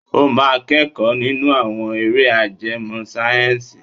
O máa kẹ́kọ̀ọ́ nínú àwọn eré ajẹmọ́ sáyẹ́ǹsì.